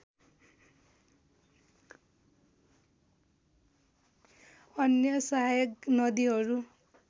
अन्य सहायक नदीहरू